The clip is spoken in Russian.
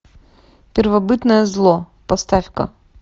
первобытное зло поставь ка